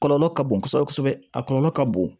Kɔlɔlɔ ka bon kosɛbɛ kosɛbɛ a kɔlɔlɔ ka bon